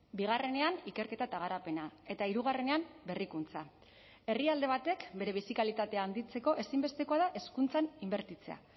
bigarrenean ikerketa eta garapena eta hirugarrenean berrikuntza herrialde batek bere bizi kalitatea handitzeko ezinbestekoa da hezkuntzan inbertitzea